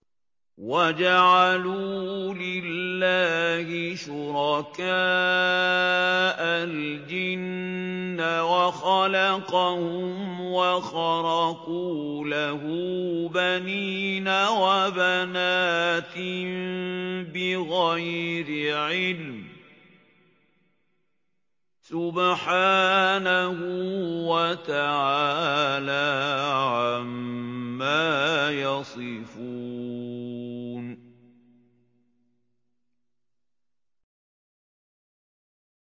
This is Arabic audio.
وَجَعَلُوا لِلَّهِ شُرَكَاءَ الْجِنَّ وَخَلَقَهُمْ ۖ وَخَرَقُوا لَهُ بَنِينَ وَبَنَاتٍ بِغَيْرِ عِلْمٍ ۚ سُبْحَانَهُ وَتَعَالَىٰ عَمَّا يَصِفُونَ